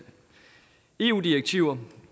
eu direktiver